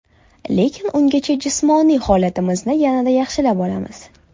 Lekin ungacha jismoniy holatimizni yanada yaxshilab olamiz.